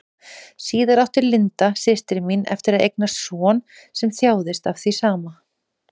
Síðar átti Linda, systir mín, eftir að eignast son sem þjáðist af því sama.